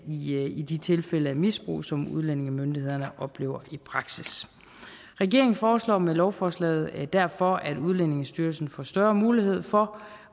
i de tilfælde af misbrug som udlændingemyndighederne oplever i praksis regeringen foreslår med lovforslaget derfor at udlændingestyrelsen får større mulighed for